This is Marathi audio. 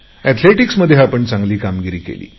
एथलेटीक्समध्ये आपण चांगली कामगिरी केली